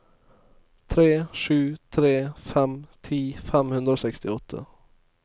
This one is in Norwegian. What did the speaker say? tre sju tre fem ti fem hundre og sekstiåtte